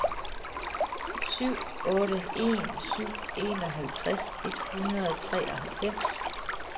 syv otte en syv enoghalvtreds et hundrede og treoghalvfems